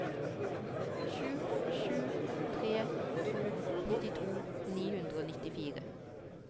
sju sju tre to nittito ni hundre og nittifire